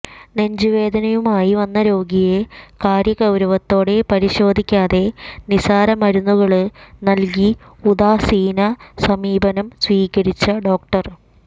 നെഞ്ചുവേദനയുമായി വന്ന രോഗിയെ കാര്യഗൌരവത്തോടെ പരിശോധിക്കാതെ നിസാരമരുന്നുകള് നല്കി ഉദാസീന സമീപനം സ്വീകരിച്ച ഡോ